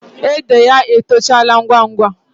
Ede ya etochala ngwa ngwa.